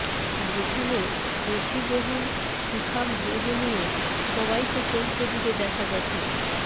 যেখানে পেশীবহুল সুঠাম দেহ নিয়ে সবাইকে চমকে দিতে দেখা গেছে